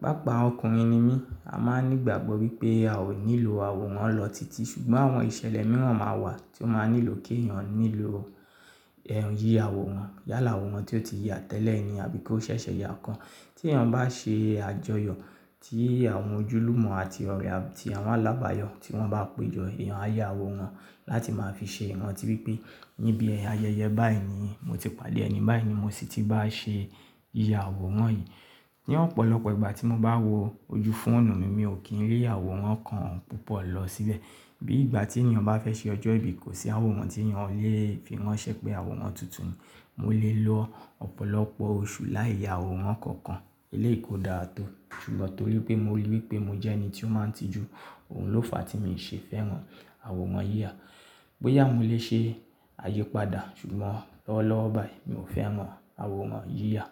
Pápàá ọkùnrin ni mí, a máa ní ìgbàgbọ́ wípé a ò nílò àwòrán lọ titi ṣùgbọ́n àwọn ìṣẹ̀lẹ̀ mìíràn máa wà tí ó máa nílò kí èèyàn nílò ẹ́hn yíya àwòrán. Yálà àwòrán tí ó ti ya tẹ́lẹ̀ ni àbí kó ṣẹ̀ṣẹ̀ ya kan. Tí èèyàn bá ṣe àjọyọ̀ tí àwọn ojúlùmọ̀ àti ọ̀rẹ́ àti àwọn alábàáyọ̀ tí wọ́n bá péjọ, èèyàn á yá àwòrán láti máa fi ṣe ìrántí wípé níbi ayẹyẹ báyìí ni mo ti pàdé ẹni báyìí ni mo sì ti bá ṣe yíya àwòrán yìí. Ni ọ̀pọ̀lọpọ̀ ìgbà tí mo bá wo ojú fóònù mi, mi ò kí n lé àwòrán kan púpọ̀ lọ síbẹ̀. Bí ìgbà tí èèyàn bá fẹ́ ṣe ọjọ́ ìbí, kò sí àwòrán tí èèyàn lè fi ránṣẹ́ pé àwòrán tuntun ni. Mo lè lo ọ̀pọ̀lọpọ̀ oṣù láì yá àwòrán kankan eléèko dáa tó ṣùgbọ́n torí pé mo rò wípé mo jẹ́ ẹni tí ó máa ń tijú, òhun ló fàá tí mo ṣe fẹ́ràn àwòrán yíya. Bóyá mo lè ṣe àyípadà ṣùgbọ́n lọ́wọ́lọ́wọ́ báyìí mi ò fẹ́ràn àwòrán yíya.